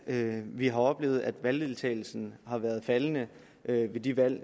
at vi har oplevet at valgdeltagelsen har været faldende ved de valg